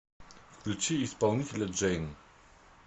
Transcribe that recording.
включи исполнителя джейн